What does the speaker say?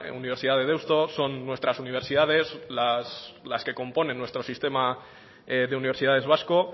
universidad de deusto son nuestras universidades las que componen nuestro sistema de universidades vasco